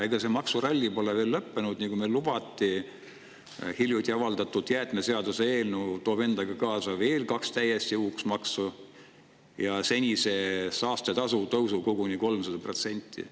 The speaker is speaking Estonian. Ega see maksuralli pole veel lõppenud, kuigi meile seda lubati, sest hiljuti avaldatud jäätmeseaduse eelnõu toob endaga kaasa kaks täiesti uut maksu ja senise saastetasu tõusu koguni 300%.